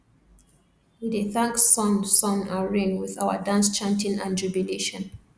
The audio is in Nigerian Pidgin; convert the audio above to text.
we dey thank sun sun and rain with our dance chanting and jubilation